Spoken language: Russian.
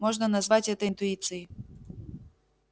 можно назвать это интуицией